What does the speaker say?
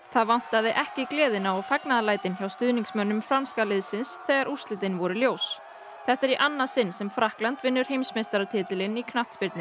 það vantaði ekki gleðina og fagnaðarlætin hjá stuðningsmönnum franska liðsins þegar úrslitin voru ljós þetta er í annað sinn sem Frakkland vinnur heimsmeistaratitilinn í knattspyrnu